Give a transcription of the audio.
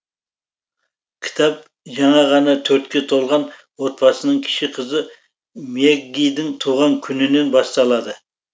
кітап жаңа ғана төртке толған отбасының кіші қызы мэггидің туған күнінен басталады